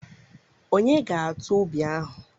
Ònye ga-atụ ubi ahụ?